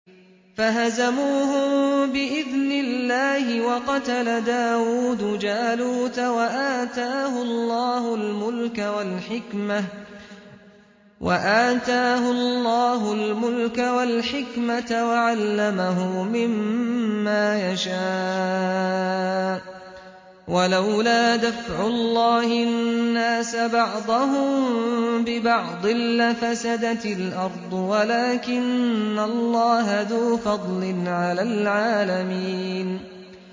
فَهَزَمُوهُم بِإِذْنِ اللَّهِ وَقَتَلَ دَاوُودُ جَالُوتَ وَآتَاهُ اللَّهُ الْمُلْكَ وَالْحِكْمَةَ وَعَلَّمَهُ مِمَّا يَشَاءُ ۗ وَلَوْلَا دَفْعُ اللَّهِ النَّاسَ بَعْضَهُم بِبَعْضٍ لَّفَسَدَتِ الْأَرْضُ وَلَٰكِنَّ اللَّهَ ذُو فَضْلٍ عَلَى الْعَالَمِينَ